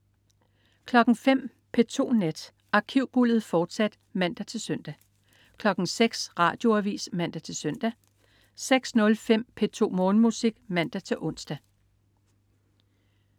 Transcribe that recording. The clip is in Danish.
05.00 P2 Nat. Arkivguldet, fortsat (man-søn) 06.00 Radioavis (man-søn) 06.05 P2 Morgenmusik (man-ons)